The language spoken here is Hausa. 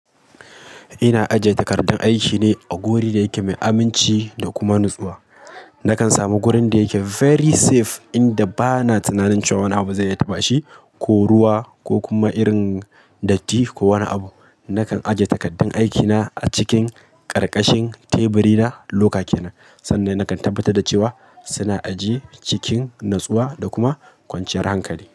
Ina ajiye takardan aiki ne a guri da yake mai aminci da kuma natsuwa. Nakan samu gurin da yake very safe inda ba na tunanin cewa wani abu zai iya taɓa shi, ko ruwa, ko kuma irin datti ko wani abu. Nakan ajiye takardan aikina a cikin ƙarƙashin teburina loka kenan sanda nakan tabbatar da cewa suna ajiye cikin natsuwa da kuma kwanciyar hankali.